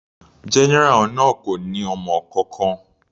General náà kò ní ọmọ kankan.